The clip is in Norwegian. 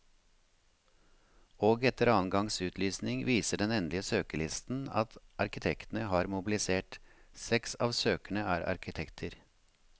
Og etter annen gangs utlysning viser den endelige søkerlisten at arkitektene har mobilisert, seks av søkerne er arkitekter.